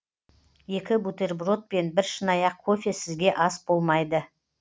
екі бутерброд пен бір шынаяқ кофе сізге ас болмайды